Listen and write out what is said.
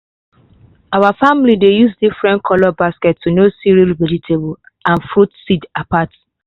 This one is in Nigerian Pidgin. our family dey use different color basket to know cereal vegetable and food seed apart.